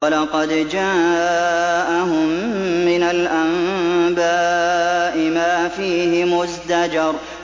وَلَقَدْ جَاءَهُم مِّنَ الْأَنبَاءِ مَا فِيهِ مُزْدَجَرٌ